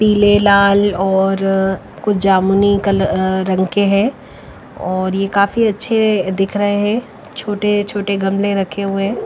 पीले लाल और कुछ जामुनी कल अ रंग के है और ये काफी अच्छे दिख रहे है छोटे छोटे गमले रखे हुए--